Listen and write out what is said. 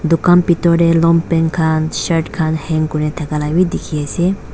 dukan bethor te longpant khan shirt khan hang kori thaka laga bhi dekhi ase.